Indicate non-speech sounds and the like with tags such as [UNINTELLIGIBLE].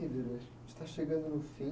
[UNINTELLIGIBLE] está chegando no fim.